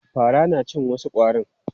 Fara na cin wasu ƙwarin.